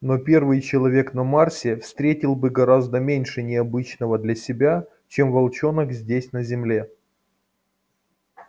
но первый человек на марсе встретил бы гораздо меньше необычного для себя чем волчонок здесь на земле